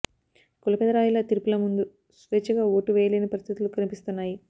కుల పెదరాయుళ్ల తీర్పుల ముందు స్వేచ్ఛగా ఓటు వేయలేని పరిస్థితులు కనిపిస్తున్నాయి